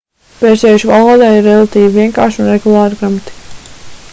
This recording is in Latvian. persiešu valodai ir relatīvi vienkārša un regulāra gramatika